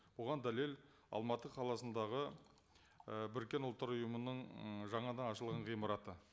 оған дәлел алматы қаласындағы ы біріккен ұлттар ұйымының ы жаңадан ашылған ғимараты